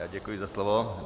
Já děkuji za slovo.